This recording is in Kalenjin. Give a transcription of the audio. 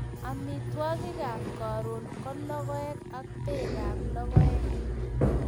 Amitwogikap karon ko logoek ak pekap logoek